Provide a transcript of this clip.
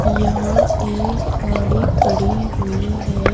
यह एक गाड़ी खड़ी हुई है।